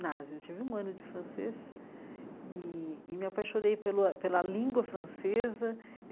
eu tive um ano de francês e e me apaixonei pelo ãh pela língua francesa.